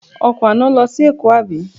Ọkọ̀ àná lọ sí Èkó àbí?